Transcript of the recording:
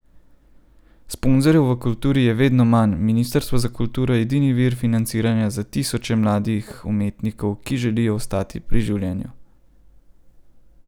Sponzorjev v kulturi je vedno manj, ministrstvo za kulturo je edini vir financiranja za tisoče mladih umetnikov, ki želijo ostati pri življenju.